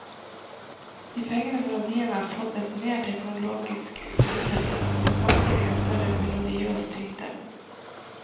De fengende melodiene har fått et mer teknologisk lydteppe, men samtidig en større melodiøs tyngde.